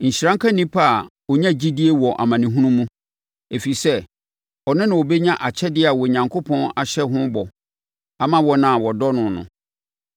Nhyira nka onipa a ɔnya gyidie wɔ amanehunu mu, ɛfiri sɛ, ɔno na ɔbɛnya akyɛdeɛ a Onyankopɔn ahyɛ ho bɔ ama wɔn a wɔdɔ no no.